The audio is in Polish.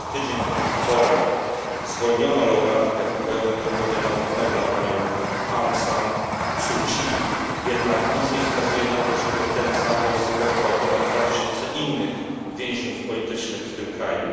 Wprawdzie tydzień po tych wyborach zwolniono laureatkę pokojowej nagrody Nobla, panią Aung San Suu Kyi, jednak nic nie wskazuje na to, żeby ten sam los spotkał ponad dwa tysiące innych więźniów politycznych w tym kraju.